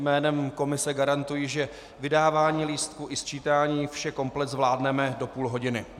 Jménem komise garantuji, že vydávání lístků i sčítání, vše komplet zvládneme do půl hodiny.